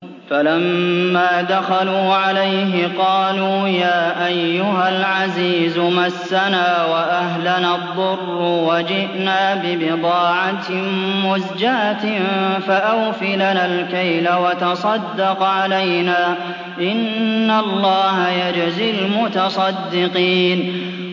فَلَمَّا دَخَلُوا عَلَيْهِ قَالُوا يَا أَيُّهَا الْعَزِيزُ مَسَّنَا وَأَهْلَنَا الضُّرُّ وَجِئْنَا بِبِضَاعَةٍ مُّزْجَاةٍ فَأَوْفِ لَنَا الْكَيْلَ وَتَصَدَّقْ عَلَيْنَا ۖ إِنَّ اللَّهَ يَجْزِي الْمُتَصَدِّقِينَ